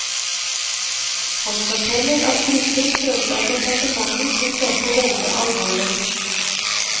Han forteller at gruppen følte at departementet tok dette veldig alvorlig.